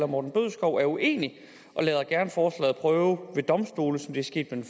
morten bødskov er uenig og lader gerne forslaget prøve ved domstolene som det skete med